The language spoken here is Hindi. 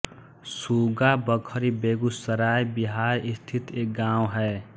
सुगा बखरी बेगूसराय बिहार स्थित एक गाँव है